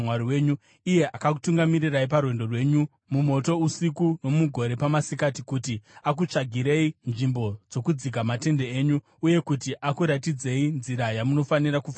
iye akakutungamirirai parwendo rwenyu, mumoto usiku nomugore pamasikati kuti akutsvagirei nzvimbo dzokudzika matende enyu uye kuti akuratidzei nzira yamunofanira kufamba nayo.